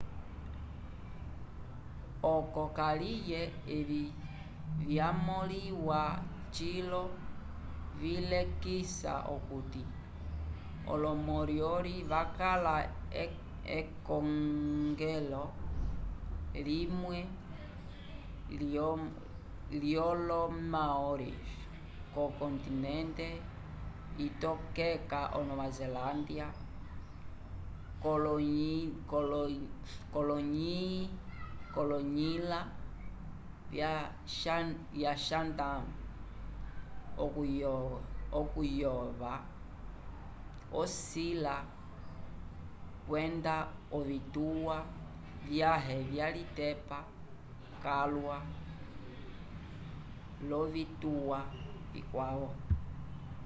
oco kaliye evi vyamõliwa cilo vilekisa okuti olo-moriori vakala ekongole limwe lyolo maoris yokontinente itokeka o nova zelâlandia k'oloyilya chatham okuyova ovisila kwenda ovituwa vyãhe vyalitepa calwa l'ovituwa vikwavo